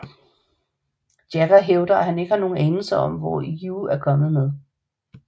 Jagger hævder at han ikke har nogen anelse om hvor You er kommet med